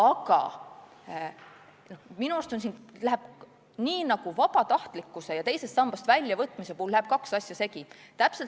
Aga minu arust siingi läheb nii nagu vabatahtlikkuse ja teisest sambast väljavõtmise puhul kaks asja segi.